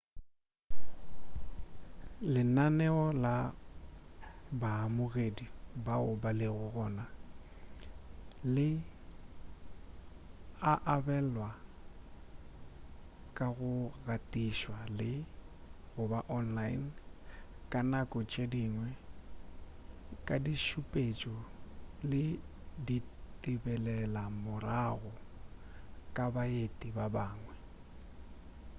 lenaneo la baamogedi bao ba lego gona le a abelanwa ka go gatišwa le/goba online ka nako tše dingwe ka ditšhupetšo le ditebelelomorago ka baeti ba bangwe